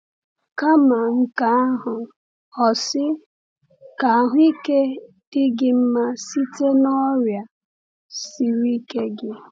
Kama nke ahụ, o sị: “Ka ahụike dị gị mma site n’ọrịa siri ike gị.”